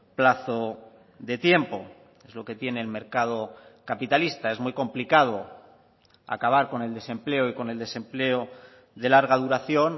plazo de tiempo es lo que tiene el mercado capitalista es muy complicado acabar con el desempleo y con el desempleo de larga duración